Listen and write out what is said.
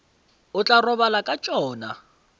o tla robala ka tšona